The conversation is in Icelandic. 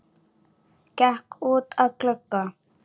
Gekk út að glugga.